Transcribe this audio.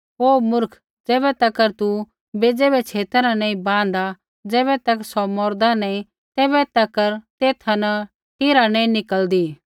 हे मुर्ख ज़ैबै तक तू बेज़ै बै छेता न नैंई बाँहदा होर ज़ैबै तक सौ मौरदा नैंई तैबै तक तेथा न टीरा नैंई निकल़दी